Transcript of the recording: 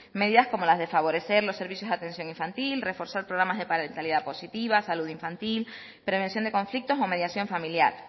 medidas como las de favorecer los servicios de atención infantil reforzar programas de parentalidad positiva salud infantil prevención de conflictos o mediación familiar